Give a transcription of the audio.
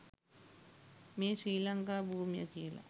මේ ශ්‍රී ලංකා භූමිය කියලා.